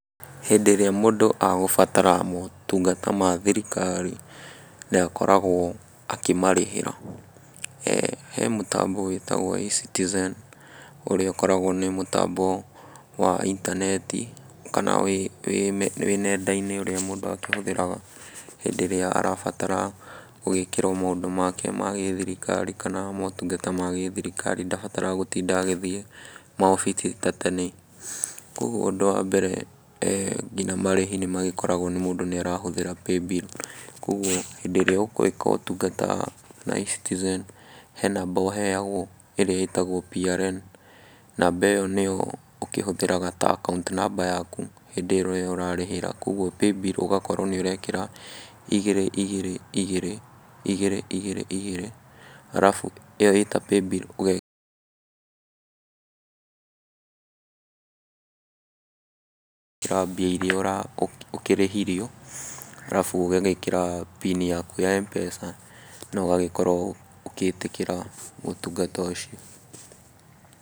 Hĩndĩ ĩrĩa mũndũ agũbatara motungata ma thirikari, nĩ akoragwo akĩmarĩhĩra. He mũtambo wĩtagwo eCitizen, ũrĩa ũkoragwo nĩ mũtambo wa intaneti kana wĩ nenda-inĩ, ũrĩa mũndũ akĩhũthĩraga hĩndĩ ĩrĩa arabatara gũgĩĩkĩrwo maũndũ make ma gĩthirikari kana maũtungata ma gĩthirikari, ndabataraga gũtinda agĩthiĩ maobici ta tene. Koguo ũndũ wa mbere nginya marĩhi nĩ magĩkoragwo nĩ mũndũ nĩ arahũthĩra paybill. kũguo hĩndĩ ĩrĩa ũkũĩka ũtungata na eCitizen, he namba ũheagwo, ĩrĩa ĩtagwo PRN, namba ĩyo nĩyo ũkĩhũthagĩra ta account namba yaku hĩndĩ ĩrĩa ũrarĩhĩra. Koguo paybill ũgakorwo nĩ ũrekĩra, igĩrĩ igĩrĩ igĩrĩ, igĩri igĩrĩ igĩrĩ, alafu ĩyo ĩta paybill ũgekĩra mbia irĩa ũkĩrĩhirwo, alafu ũgagĩĩkĩra PIN yaku ya MPESA na ũgagĩkorwo ũgĩĩtĩkĩra ũtungata ũcio.